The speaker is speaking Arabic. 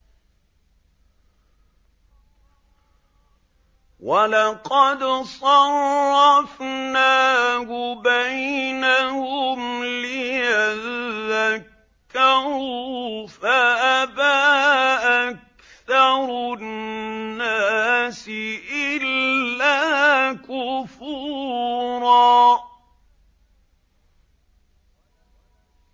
وَلَقَدْ صَرَّفْنَاهُ بَيْنَهُمْ لِيَذَّكَّرُوا فَأَبَىٰ أَكْثَرُ النَّاسِ إِلَّا كُفُورًا